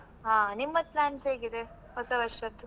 ಹಾ, ನಿಮ್ಮದ್ plans ಹೇಗಿದೆ ಹೊಸ ವರ್ಷದ್ದು.